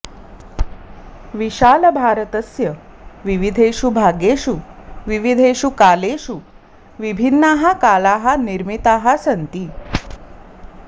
विशालभारतस्य विविधेषु भागेषु विविधेषु कालेषु विभिन्नाः कालाः निर्मिताः सन्ति